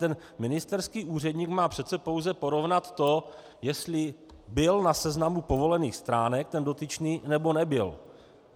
Ten ministerský úředník má přece pouze porovnat to, jestli byl na seznamu povolených stránek ten dotyčný, nebo nebyl.